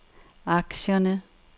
aktierne